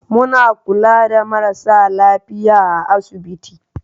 Muna kula da marasa lafiya a asibiti.